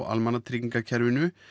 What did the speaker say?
almannatryggingakerfinu